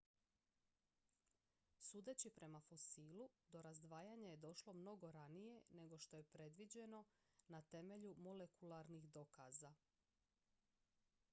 sudeći prema fosilu do razdvajanja je došlo mnogo ranije nego što je predviđeno na temelju molekularnih dokaza